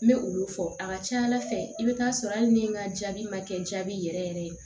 N bɛ olu fɔ a ka ca ala fɛ i bɛ taa sɔrɔ hali ni n ka jaabi ma kɛ jaabi yɛrɛ yɛrɛ ye